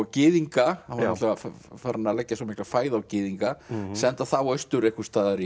gyðinga hann var farinn að leggja svo mikila fæð á gyðinga senda þá austur einhvers staðar